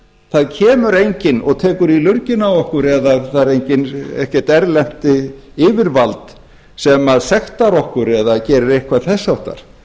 það kemur enginn og tekur í lurginn á okkur og það er ekkert erlent yfirvald sem sektar okkur eða gerir eitthvað þess háttar